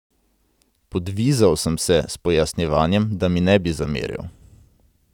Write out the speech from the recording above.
Podvizal sem se s pojasnjevanjem, da mi ne bi zameril.